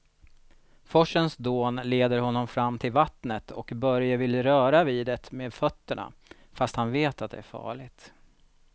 Forsens dån leder honom fram till vattnet och Börje vill röra vid det med fötterna, fast han vet att det är farligt.